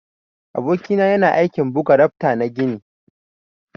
Aboki na yana aiki buga rafta na gini.